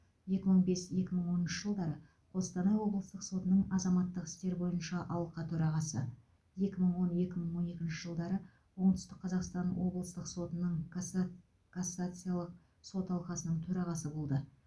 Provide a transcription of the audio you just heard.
екі мың бес екі мың оныншы жылдары қостанай облыстық сотының азаматтық істер бойынша алқа төрағасы екі мың он екі мың он екінші жылдары оңтүстік қазақстан облыстық сотының касса кассациялық сот алқасының төрағасы болды